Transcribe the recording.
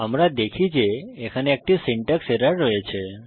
আমরা দেখি যে এখানে একটি সিনট্যাক্স এরর রয়েছে